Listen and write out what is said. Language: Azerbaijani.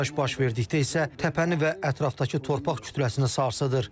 Partlayış baş verdikdə isə təpəni və ətrafdakı torpaq kütləsini sarsıdır.